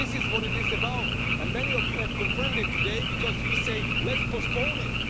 This is what it is about, and many of you have confirmed it today because you say, let's postpone it'.